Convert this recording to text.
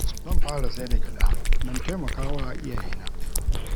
Zan fara sai da gyada don taimaka wa iyaye na